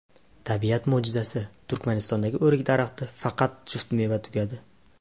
Tabiat mo‘jizasi: Turkmanistondagi o‘rik daraxti faqat juft meva tugadi .